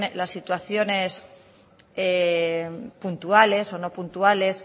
las situaciones puntuales o no puntuales